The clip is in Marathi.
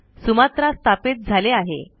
सुमात्रा स्थापित झाले आहे